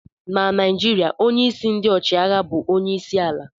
Na naijiriya ọnye isi ndi ọchiagha bu ọnye isi ala..